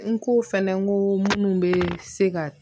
N ko fɛnɛ n ko munnu bɛ se ka